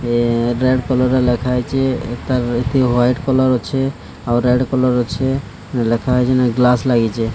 ଏ event colour ର ଲେଖାହେଇଚି ଏଠାରେ ଏଠି ହ୍ବାଇଟ କଲର ଅଛି ଆଉ ରେଡ କଲର ଅଛି ଯୋଉ ଲେଖାହେଇଚି ଯୋଉ ଗ୍ଲାସ ଲାଗିଚି ।